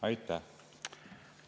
Aitäh!